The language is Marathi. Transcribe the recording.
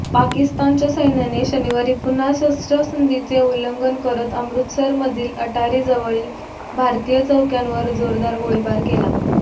पाकिस्तानच्या सैन्याने शनिवारी पुन्हा शस्त्रसंधीचे उल्लंघन करत अमृतरसरमधील अटारी जवळील भारतीय चौक्यांवर जोरदार गोळीबार केला